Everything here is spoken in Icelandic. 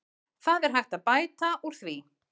Það er hægt að bæta úr því.